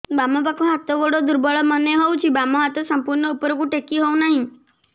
ବାମ ପାଖ ହାତ ଗୋଡ ଦୁର୍ବଳ ମନେ ହଉଛି ବାମ ହାତ ସମ୍ପୂର୍ଣ ଉପରକୁ ଟେକି ହଉ ନାହିଁ